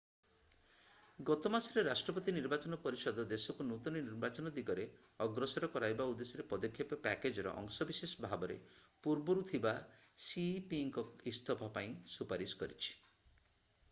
ଗତ ମାସରେ ରାଷ୍ଟ୍ରପତି ନିର୍ବାଚନ ପରିଷଦ ଦେଶକୁ ନୂତନ ନିର୍ବାଚନ ଦିଗରେ ଅଗ୍ରସର କରାଇବା ଉଦ୍ଦେଶ୍ୟରେ ପଦକ୍ଷେପ ପ୍ୟାକେଜର ଅଂଶ ବିଶେଷ ଭାବରେ ପୂର୍ବରୁ ଥିବା cepଙ୍କ ଇସ୍ତଫା ପାଇଁ ସୁପାରିଶ କରିଛି।